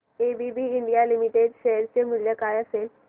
ABB India Limited share चे मूल्य काय असेल